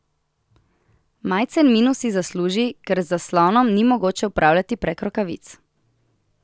Majcen minus si zasluži, ker z zaslonom ni mogoče upravljati prek rokavic.